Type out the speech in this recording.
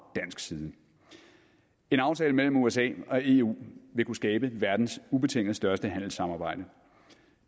dansk side en aftale mellem usa og eu vil kunne skabe verdens ubetinget største handelssamarbejde og